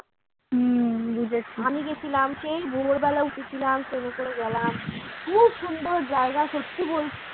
আমি গেছিলাম সেই ভোর বেলা উঠেছিলাম train এ করে গেলাম খুব সুন্দর জায়গা সত্যি বলছি